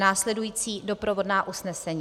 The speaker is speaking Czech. Následující doprovodná usnesení: